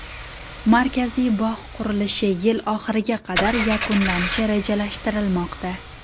Markaziy bog‘ qurilishi yil oxiriga qadar yakunlanishi rejalashtirilmoqda.